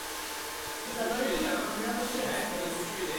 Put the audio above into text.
Jabalpur Amravati express